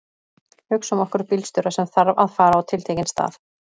Hugsum okkur bílstjóra sem þarf að fara á tiltekinn stað.